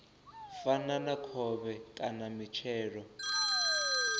fana na khovhe kana mitshelo